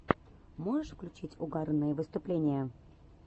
можешь включить угарные выступления